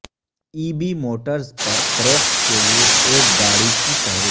E B Motors پر فروخت کے لئے ایک گاڑی کی فہرست